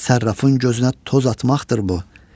Sərrafın gözünə toz atmaqdır bu.